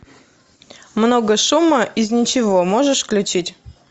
много шума из ничего можешь включить